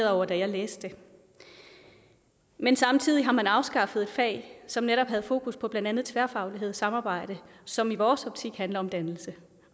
over da jeg læste det men samtidig har man afskaffet fag som netop havde fokus på blandt andet tværfaglighed og samarbejde som i vores optik handler om dannelse